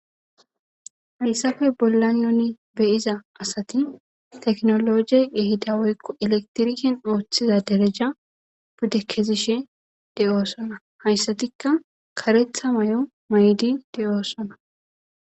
Falsafe bollanoni beyiza asati teknologie ehida woykko elektiriken ooththiza dereja budde kezishe de oossana hayssatikka karetha may'o maydi de'oossana.